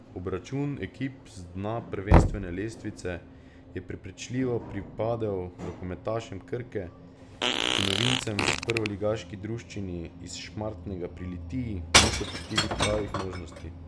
Obračun ekip z dna prvenstvene lestvice je prepričljivo pripadel rokometašem Krke, ki novincem v prvoligaški druščini iz Šmartnega pri Litiji niso pustili pravih možnosti.